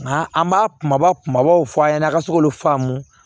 Nka an b'a kumaba kumabaw fɔ a ɲɛna a ka se k'olu faamu